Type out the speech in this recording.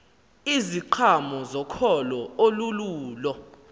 iziqhamo zokholo olululo